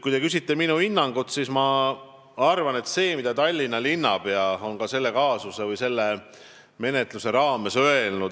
Kui te küsite minu hinnangut, siis ma tahan rääkida sellest, mida on öelnud Tallinna linnapea selle kaasuse või menetluse raames.